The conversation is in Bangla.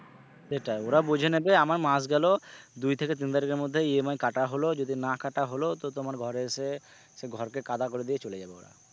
সেটাই ওরা বুঝে নেবে আমার মাস গেলেও দুই থেকে তিন তারিখের মধ্যে EMI কাটা হল যদি না কাটা হলো তো তোমার ঘরে এসে সে ঘরকে কাদা করে দিয়ে চলে যাবে ওরা।